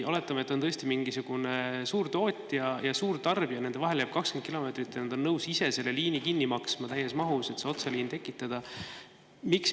Oletame, et on tõesti mingisugune suurtootja ja suurtarbija, nende vahele jääb 20 kilomeetrit ja nad on nõus ise selle liini kinni maksma, täies mahus, et see otseliin tekitada.